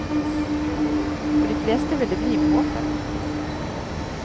For de fleste vil det bli med håpet.